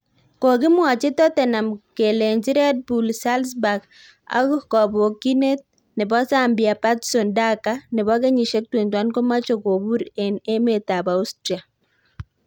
Kokimwochi Tottenham kelenji Red Bull Salzburg ak kobokyindet nebo Zambia Patson Daka, nebo kenyisiek 21 komoche kobur en emetab Austria